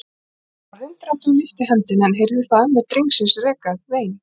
Ég varð undrandi og lyfti hendinni en heyrði þá ömmu drengsins reka upp vein.